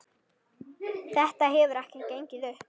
Þetta hefur ekki gengið upp.